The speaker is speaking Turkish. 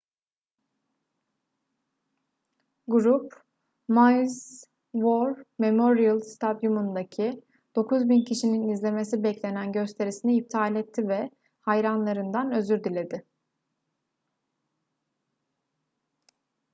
grup maui's war memorial stadyumu'ndaki 9.000 kişinin izlemesi beklenen gösterisini iptal etti ve hayranlarından özür diledi